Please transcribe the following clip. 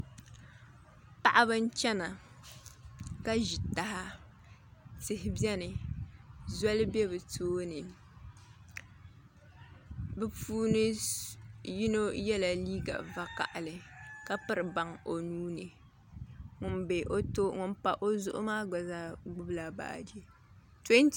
Paɣaba n chɛna ka ʒi taha tihi biɛni zoli bɛ bi tooni bi puuni yino yɛla liiga vakaɣali ka piri baŋ o nuuni ŋun pa o zuɣu maa gba zaa gbubila baaji